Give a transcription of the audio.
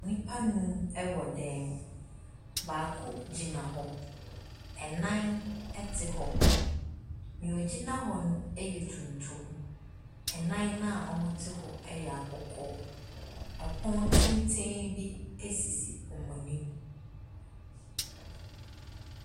Nnipa anum ɛwɔ dan mu. Baako gyina hɔ. Ɛnnan ɛte hɔ. Nea ogyina hɔ no ɛyɛ tuntum. Ɛnnan na ɔmo te hɔ no ɛyɛ kɔkɔɔ. Ɛpono tenten bi esisi wɔn anim.